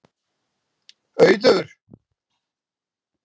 Auður